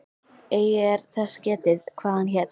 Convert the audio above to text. Eigi er þess getið, hvað hann hét.